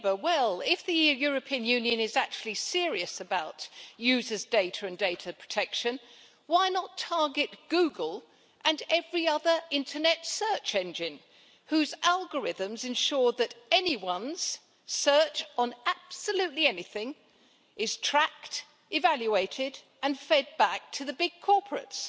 Mr President, if the European Union is actually serious about users' data and data protection, why not target Google and every other internet search engine whose algorithms ensure that anyone's search on absolutely anything is tracked, evaluated and fed back to the big corporates